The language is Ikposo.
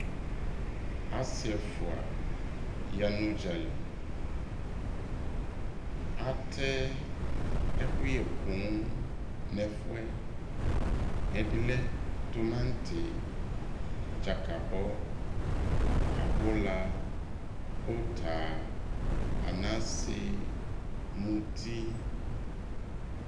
Asɩ ɛfua yanu ʊdzalɩ atɛ ɛkʊyɛ poo nʊ ɛfʊɛ ɛdɩlɛ tumatɩ dzakabɔ abula uta anase mutɩ